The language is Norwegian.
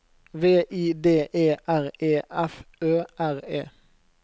V I D E R E F Ø R E